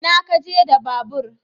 Ina kaje da babur?